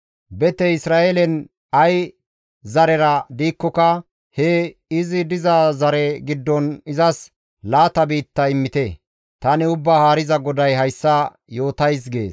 Betey Isra7eelen ay zarera diikkoka, he izi diza zare giddon izas laata biitta immite. Tani Ubbaa Haariza GODAY hayssa yootays» gees.